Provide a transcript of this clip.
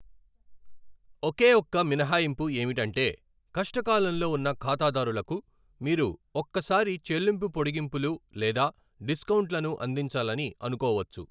ఒకే ఒక్క మినహాయింపు ఏమిటంటే, కష్టకాలంలో ఉన్న ఖాతదారులకు మీరు ఒక్కసారి చెల్లింపు పొడిగింపులు లేదా డిస్కౌంట్లను అందించాలని అనుకోవచ్చు.